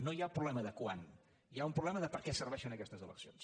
no hi ha problema de quan hi ha un problema de per a què serveixen aquestes eleccions